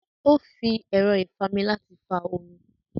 Ó fi ẹ̀rọ́ ìfami láti fa omi